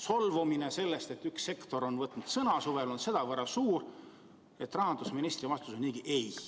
Solvumine selle pärast, et üks sektor on võtnud suvel sõna, on olnud sedavõrd suur, et rahandusministri vastus on ei.